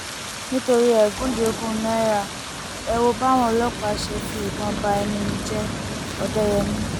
nítorí ẹgúnjẹ ogún náírà ẹ wo báwọn ọlọpàá ṣe fi ìbọn bá ẹnu mi jẹ òdẹyẹmi